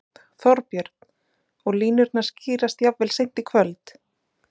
Þorbjörn: Og línurnar skýrast jafnvel seint í kvöld?